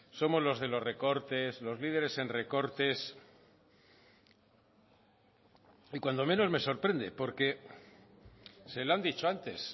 somos los de los recortes los líderes en recortes y cuando menos me sorprende porque se lo han dicho antes